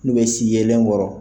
N'u bɛ si yelen kɔrɔ